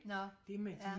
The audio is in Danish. Nå ja